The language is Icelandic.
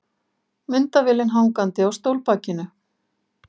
Myndavélin hangandi á stólbakinu.